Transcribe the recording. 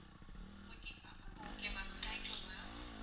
okay ங்களா ma'am okay ma'am thank you ma'am